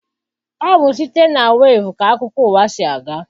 Ọ bụ site na weevu ka akụkọ ụwa si aga.